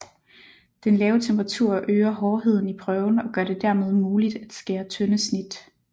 Den lave temperatur øger hårdheden i prøven og gør det dermed muligt at skære tynde snit